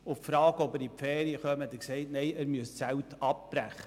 Auf die Frage, ob er für Ferien komme, sagte er, Nein, er müsse die Zelte abbrechen.